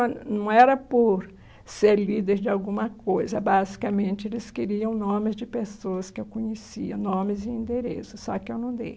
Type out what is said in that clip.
E não era por ser líder de alguma coisa, basicamente eles queriam nomes de pessoas que eu conhecia, nomes e endereços, só que eu não dei.